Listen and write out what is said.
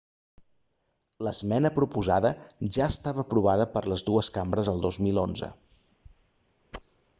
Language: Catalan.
l'esmena proposada ja estava aprovada per les dues cambres el 2011